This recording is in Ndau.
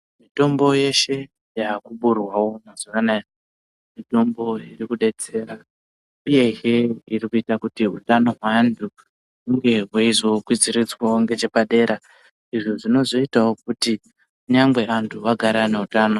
Mitombo yeshe yaakuburwawo mazuva anaya mitombo irikudetsera uyehe irikuita kuti hutano hwaantu hunhe hweizokwidziridzwawo ngechepadera. Izvo zvinozoitawo kuti kunyangwe antu agare aneutano.